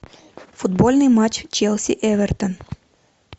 футбольный матч челси эвертон